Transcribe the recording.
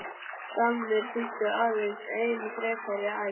Skammir þýddu aðeins enn frekari ærsl.